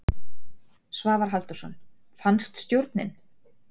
Svavar Halldórsson: Fannst stjórnin?